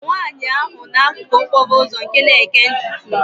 bụ nwaanyị ahụ n'akụkụ okporo ụzọ nke na-ekee ntutu m